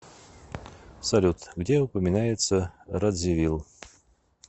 салют где упоминается радзивил